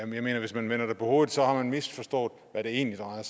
mener jeg at hvis man vender det på hovedet har man misforstået hvad det egentlig drejer